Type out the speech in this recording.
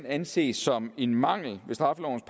anses som en mangel ved straffelovens